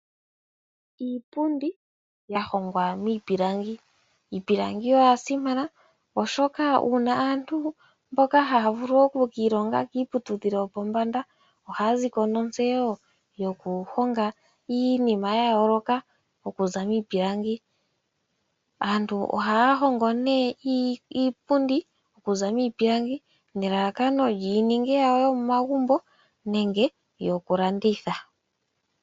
Iipundi yahongwa miipilangi, Iipilangi oyasimana oshoka uuna aantu mboka haya vulu okukiilonga kiiputudhilo yopombanda ohaya ziko notseyo yokuhonga iinima yayooloka okuza miipilangi. Aantu ohaya hongo nee iipundi okuza miipilangi nelalakano yininge yawo yomomagumbo nenge yokulanditha.